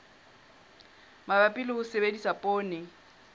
mabapi le ho sebedisa poone